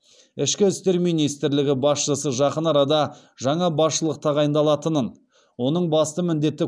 ішкі істер министрлігі басшысы жақын арада жаңа басшылық тағайындалатынын оның басты міндеті